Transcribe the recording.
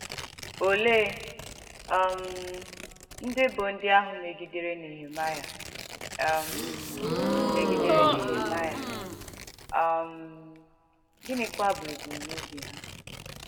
Òleè um ndí bụ̀ ndí àhụ̄ mègìdèrè Nèhèmàịà, um mègìdèrè Nèhèmàịà, um gị̀nìkwà bụ̀ èbùm̀n’ọ̀bì hà?